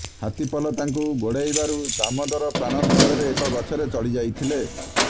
ହାତୀ ପଲ ତାଙ୍କୁ ଗୋଡ଼ାଇବାରୁ ଦାମୋଦର ପ୍ରଣ ବିକଳରେ ଏକ ଗଛରେ ଚଢ଼ି ଯାଇଥିଲେ